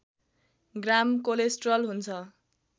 ग्राम cholesterol हुन्छ